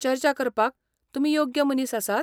चर्चा करपाक तुमी योग्य मनीस आसात?